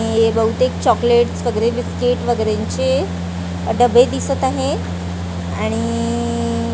हे बहुतेक चॉकलेट्स वगेरे बिस्किट्स वगेरेंची अ डबे दिसत आहे आणि इइइ--